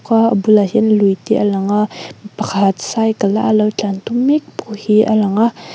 khua a bulah hian luite a langa mi pakhat cycle a lo tlan tum mek pawh hi a lang a.